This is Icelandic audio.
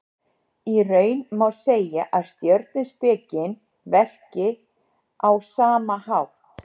Í raun má segja að stjörnuspekin verki á sama hátt.